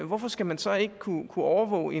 hvorfor skal man så ikke kunne overvåge